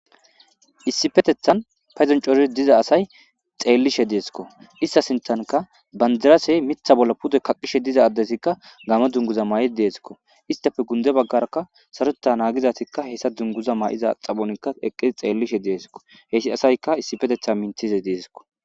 issipetethan payzon cori diza asay xeellishe deeskko ista sintanka bandirasey mitha bolla pudo kaqishe diza addesikka gamo dunguza maay7i deeskko istafe gunde baggaraka saroeta naagizatikka hessa dunguza maa7iza xaponikka eqqii xeellishe deeskko hessi asayka issifetetha minthize deeskko